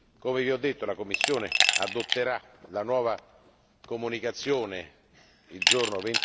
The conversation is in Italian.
come ho detto la Commissione adotterà la nuova comunicazione il giorno